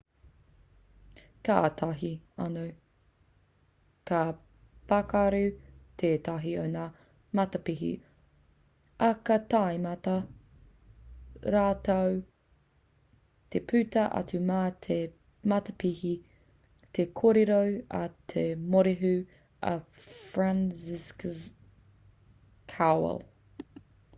kātahi anō ka pakaru tētahi o ngā matapihi ā kā tīmata rātou te puta atu mā te matapihi te kōrero a te morehu a franciszek kowal